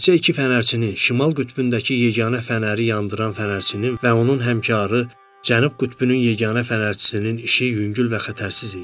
Təkcə iki fənərçinin, Şimal qütbündəki yeganə fənəri yandıran fənərçinin və onun həmkarı Cənub qütbünün yeganə fənərçisinin işi yüngül və xətərsiz idi.